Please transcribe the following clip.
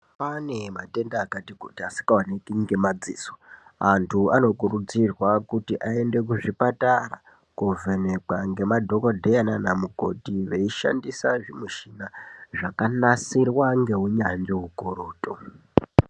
Pane matenda akati kuti asingaoneki ngemadziso. Vantu anokurudzirwa kuti aende kuzvipatara kovhenekwa ngemadhogodheya nana mukoti veishandisa zvimichina, zvakanasirwa ngeunyanzvi hukurutu.